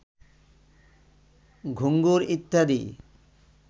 ঘুঙুর ইত্যাদি